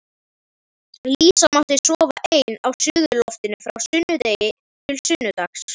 Dísa mátti sofa ein á suðurloftinu frá sunnudegi til sunnudags.